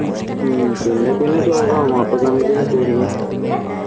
ഹും പിന്നെപ്പിന്നെ ശോകം ആകും അപ്പോ